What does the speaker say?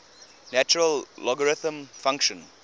natural logarithm function